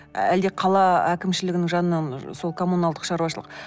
әлде қала әкімшілігінің жанынан сол коммуналдық шаруашылық